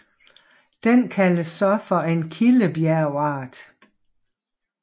Den kaldes så for en kildebjergart